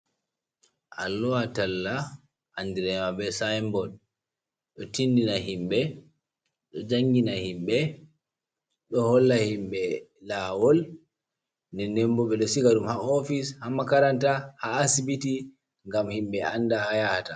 Alluha talla, andiraama be sainbod. Ɗo tindina himɓe, ɗo jangina himɓe, ɗo holla himɓe laawol. Nden bo ɓe ɗo siga ɗum haa ofis, ha makaranta, ha asibiti ngam himɓe anda haa yahata.